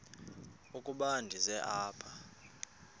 ukuba ndize apha